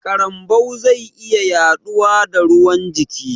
Karambau zai iya yaɗuwa da ruwan jiki